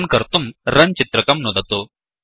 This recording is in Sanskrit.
रन् कर्तुंRunरन् चित्रकं नुदतु